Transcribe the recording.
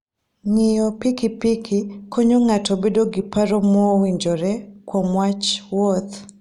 Ng'iyo pikipiki konyo ng'ato bedo gi paro mowinjore kuom wach wuoth.